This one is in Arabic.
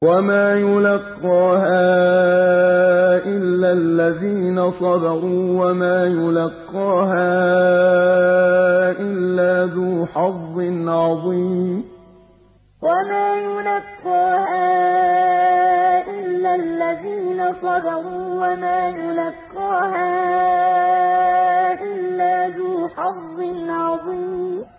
وَمَا يُلَقَّاهَا إِلَّا الَّذِينَ صَبَرُوا وَمَا يُلَقَّاهَا إِلَّا ذُو حَظٍّ عَظِيمٍ وَمَا يُلَقَّاهَا إِلَّا الَّذِينَ صَبَرُوا وَمَا يُلَقَّاهَا إِلَّا ذُو حَظٍّ عَظِيمٍ